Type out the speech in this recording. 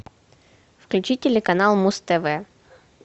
включи телеканал муз тв